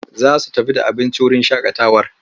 Za su tafi da abinci wurin shaƙatawar.